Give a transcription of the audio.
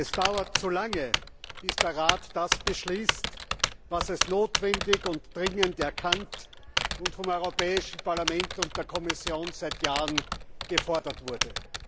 Es dauert zu lange, bis der Rat das beschließt, was als notwendig und dringend erkannt und vom Europäischen Parlament und der Kommission seit Jahren gefordert wurde.